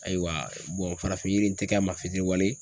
Ayiwa farafin yiri n tɛ kɛ a ma fitiriwale ye.